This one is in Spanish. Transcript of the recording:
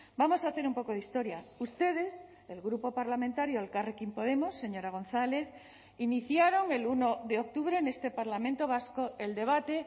vamos a hacer un poco de historia ustedes el grupo parlamentario elkarrekin podemos señora gonzález iniciaron el uno de octubre en este parlamento vasco el debate